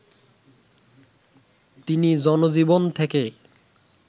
তিনি জনজীবন থেকে